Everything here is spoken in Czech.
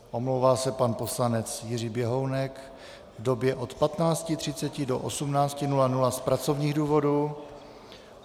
Omlouvá se pan poslanec Jiří Běhounek v době od 15.30 do 18.00 z pracovních důvodů.